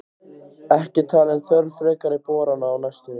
Ekki talin þörf frekari borana á næstunni.